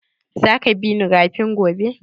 Za ka bi ni rafin gobe?